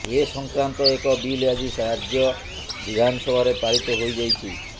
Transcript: ଏ ସଂକ୍ରାନ୍ତ ଏକ ବିଲ୍ ଆଜି ରାଜ୍ୟ ବିଧାନସଭାରେ ପାରିତ ହୋଇଯାଇଛି